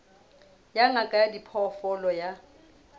ya ngaka ya diphoofolo ya